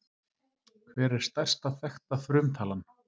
Hver er stærsta þekkta frumtalan?